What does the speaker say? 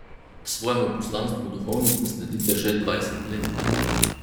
Svojemu poslanstvu duhovnice sledite že dvajset let.